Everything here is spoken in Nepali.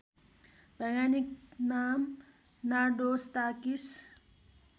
वैज्ञानिक नाम नार्डोस्टाकिस